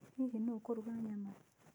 Hihi nũũ ũkũruga nyama?